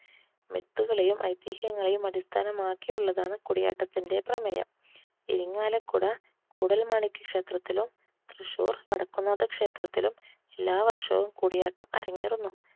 മിത്തുകളെയും ഐതിഹ്യങ്ങളെയും അടിസ്ഥാനമാക്കിയുള്ളതാണ് കൂടിയാട്ടത്തിന്റെ പ്രമേയം. ഇരിങ്ങാലക്കുട കൂടൽമാണിക്യ ക്ഷേത്രത്തിലും തൃശ്ശൂർ വടക്കും നാഥക്ഷേത്രത്തിലും എല്ലാവർഷവും കൂടിയാട്ടം അരങ്ങേറുന്നു.